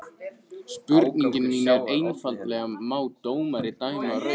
Spurningin mín er einfaldlega má dómari dæma rautt utan vallar?